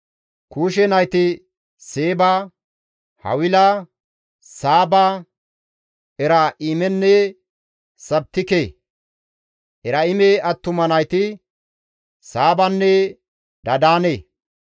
Kuushe nayti Seeba, Hawila, Saaba, Eraa7imenne Sabiteka; Eraa7ime attuma nayti Saabanne Dadaane.